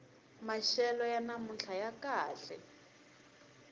maxelo ya namuntlha ya kahle